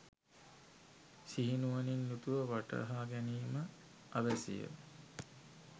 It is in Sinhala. සිහිනුවණින් යුතුව වටහාගැනීම අවැසිය.